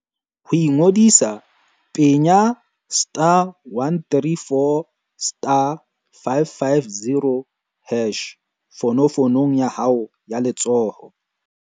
Ho ingodisa, penya *134*550# fonofonong ya hao ya letsoho.